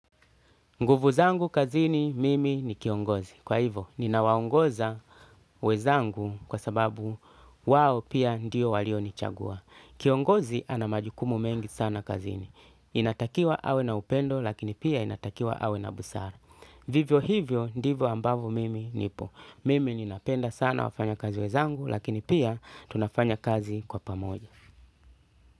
Nguvu zangu kazini mimi ni kiongozi. Kwa hivo, ninawaongoza wezangu kwa sababu wao pia ndiyo walio nichagua. Kiongozi anamajukumu mengi sana kazini. Inatakiwa awe na upendo lakini pia inatakiwa awe na busara. Vivyo hivyo ndivyo ambavo mimi nipo. Mimi ninapenda sana wafanya kazi wezangu lakini pia tunafanya kazi kwa pamoja.